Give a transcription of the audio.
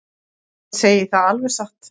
Ég segi það alveg satt.